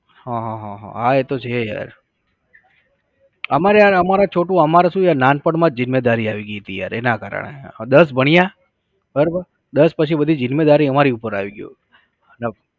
હા હા હા હા એતો છે યાર. અમારે યાર અમારે છોટુ અમારાં શું છે નાનપણમાં જીમ્મેદારી આવી ગઈ હતી યાર એના કારણે. દસ ભણ્યા બરોબર. દસ પછી બધી જીમ્મેદારી અમારી ઉપર આવી ગઈ